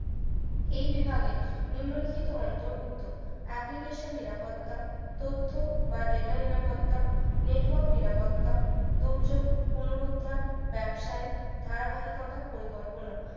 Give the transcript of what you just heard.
এই বিভাগে নিম্নলিখিত অন্তর্ভুক্ত application নিরাপত্তা তথ্য বা data নিরাপত্তা network নিরাপত্তা দুর্যোগ পুনরুদ্ধার ব্যবসায় ধারাবাহিকতা পরিকল্পনা